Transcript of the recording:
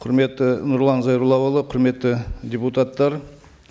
құрметті нұрлан зайроллаұлы құрметті депутаттар